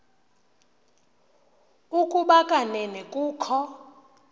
ukuba kanene kukho